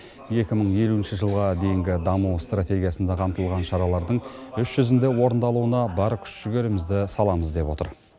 екі мың елуінші жылға дейінгі даму стратегиясында қамтылған шаралардың іс жүзінде орындалуына бар күш жігерімізді саламыз деп отыр